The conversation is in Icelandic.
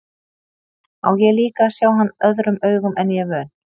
Á ég líka að sjá hann öðrum augum en ég er vön.